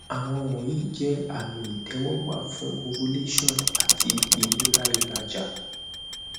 awọn wọnyi jẹ ami itẹwọgba fun ovulation ati ilera ilaja